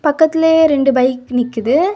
பக்கத்துலெயே ரெண்டு பைக் நிக்குது.